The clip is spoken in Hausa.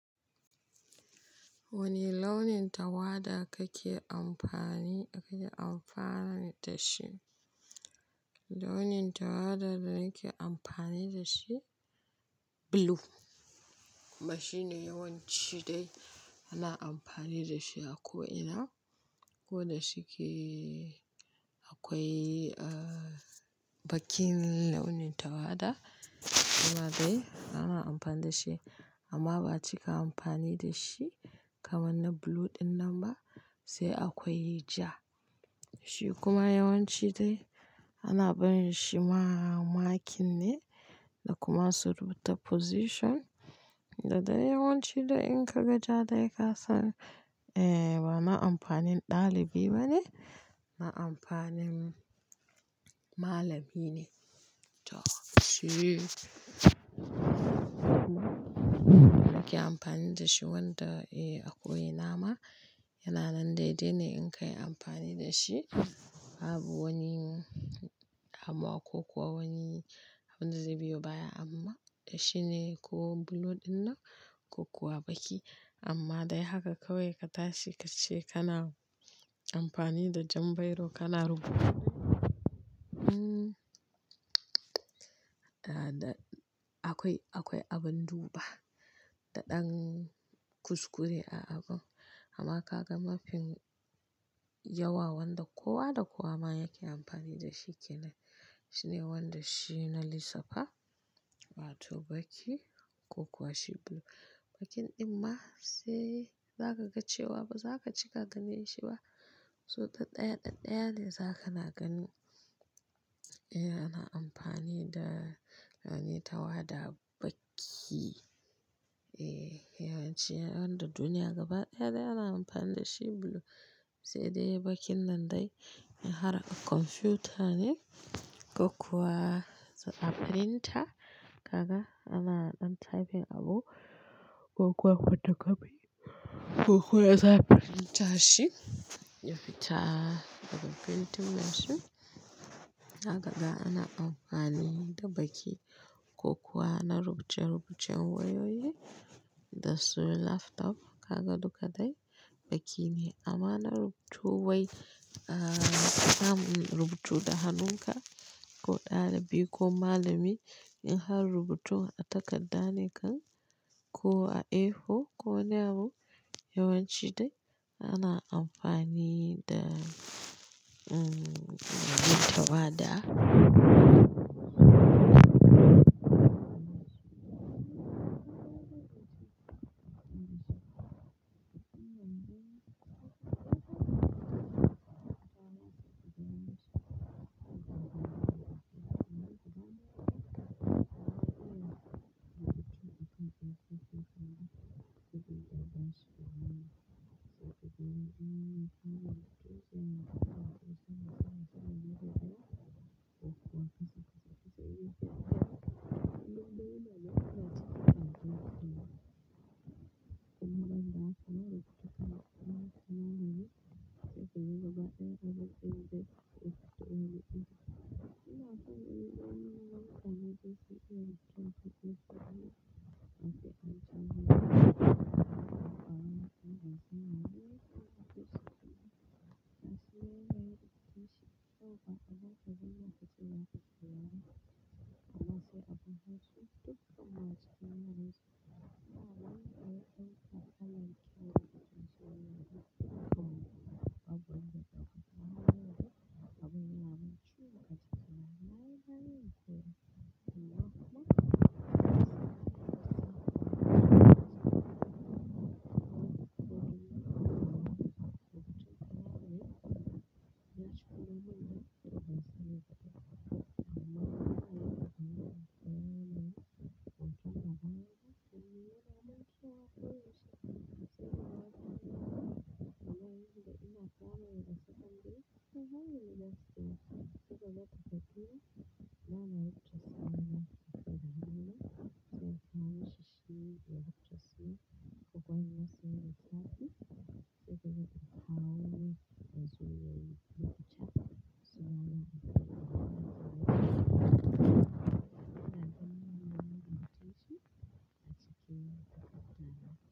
Wane launin tawada kake amfani aka yi amfani da shi? Launin tawada da nake amfani da shi blue. Kuma shi ne yawanci dai ana amfani da shi a ko ina. Ko da shike akwai, ah, baƙin launin tawada, amma dai ana amfani da shi. Amma ba a cika amfani da shi kamar na blue ɗin nan ba, sai akwai ja. Shi kuma yawanci dai ana barin shi ma makin ne da kuma surubuta position. Da dai yawanci da in ka ga ja dai kasan, eh, ba na amfanin ɗalibi bane, na amfanin malamine. To shi ake amfani da shi wanda, eh, a ko ina ma yana nan dai dai ne in ka yi amfani da shi. Babu wani amma ko kuwa wani abin da zai biyo baya amma shi ne ko blue ɗin nan ko kuwa baƙi. Amma dai haka kawai ka tashi ka ce kana amfani da jan bairo kana rubuta. Hmm, ah, da akwai, akwai abin duba da ɗan kuskure a abun. Amma ka ga mafin yawa wanda kowa da kowa ma yake amfani da shi kenan. Shi ne wanda shi na lissafa, ba to baƙi ko kuwa shi blue. Baƙin ɗin ma sai za ka ga cewa ba za ka cika da ni shi ba. So ta ɗaya da ɗaya ne za ka na gani. E, ana amfani da launin tawada baƙi, eh, yawanci wanda duniya gaba ɗaya dai ana amfani da shi blue. Sai dai baƙin nan dai in har a kwamfuta ne ko kuwa a printer. Kaga ana ɗan typing abu ko kuwa foto kofi ko kuwa za a printer shi ya fita daga printing machine. Zakaga ana amfani da baƙi ko kuwa ana rubuce-rubucen wayoyi da su laptop. Kaga duka dai baƙi ne. Amma na rubutu wai, ah, samun rubutu da hannunka ko ɗalibi ko malamai in har rubutu a takarda ne kan ko a A4 ko wani abu, yawanci dai ana amfani da, mm, launin tawada.